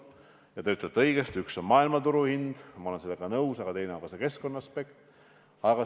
Ja te ütlete õigesti, et üks asi on maailmaturuhind – ma olen sellega nõus –, aga teine asi on ka keskkonnaaspekt.